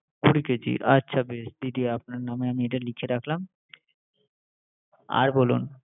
কুড়ি কেজি আচ্ছা দিদি আপনার নামে এটা লিখে রাখলাম আর বলুন